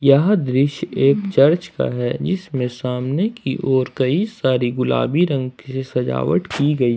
यह दृश्य एक चर्च का है जिसमें सामने की ओर कई सारी गुलाबी रंग की सजावट की गई--